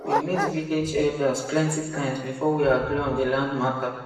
we meet village elders plenty times before we agree on the land matter